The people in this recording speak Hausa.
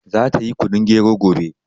Za ta yi kunun gero gobe